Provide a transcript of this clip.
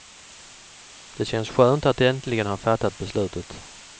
Det känns skönt att äntligen ha fattat beslutet.